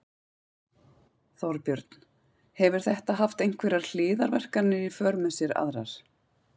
Þorbjörn: Hefur þetta haft einhverjar hliðarverkanir í för með sér aðrar?